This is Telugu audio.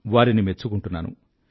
వారిని మెచ్చుకుంటున్నాను